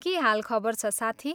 के हाल खबर छ साथी?